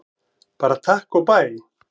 Bara takk og bæ!